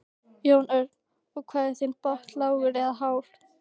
Jón Örn: Og hvað er þinn botn lágur eða hár?